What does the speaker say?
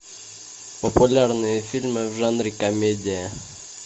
популярные фильмы в жанре комедия